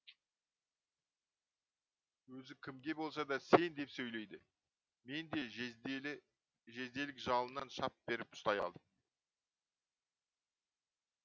өзі кімге болса да сен деп сөйлейді мен де жезделік жалынан шап беріп ұстай алдым